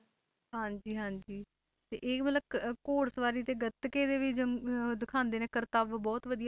ਹਾਂਜੀ ਹਾਂਜੀ ਤੇ ਇਹ ਮਤਲਬ ਕ~ ਘੋੜ ਸਵਾਰੀ ਤੇ ਗੱਤਕੇ ਦੇ ਵੀ ਜੰ~ ਅਹ ਦਿਖਾਉਂਦੇ ਨੇ ਕਰਤੱਵ ਬਹੁਤ ਵਧੀਆ।